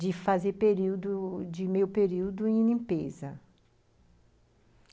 De fazer período, de meio período, em limpeza.